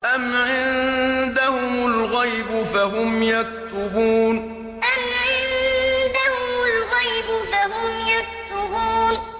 أَمْ عِندَهُمُ الْغَيْبُ فَهُمْ يَكْتُبُونَ أَمْ عِندَهُمُ الْغَيْبُ فَهُمْ يَكْتُبُونَ